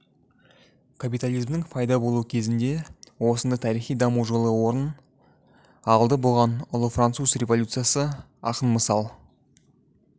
капитализмнің пайда болу кезінде осындай тарихи даму жолы орын алды бұған ұлы француз революциясы айқын мысал